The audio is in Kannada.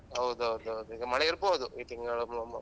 ಹೌದೌದೌದು ಈಗ ಮಳೆ ಇರ್ಬೋದು ಈ ತಿಂಗಳ .